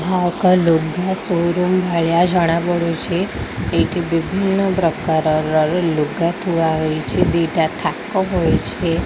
ଏହା ଏକ ଲୁଗା ସୋରୁମ ଭଳିଆ ଜଣା ପଡୁ଼ଚି। ଏଠି ବିଭିନ୍ନ ପ୍ରକାର ଲୁଗା ଥୁଆ ହୋଇଛି ଦିଟା ଥାକ ହୋଇଛି।